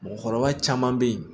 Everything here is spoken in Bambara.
Mɔgɔkɔrɔba caman be ye